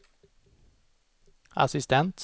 assistent